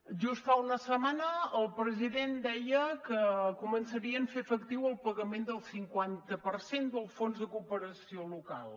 just fa una setmana el president deia que començarien a fer efectiu el pagament del cinquanta per cent del fons de cooperació local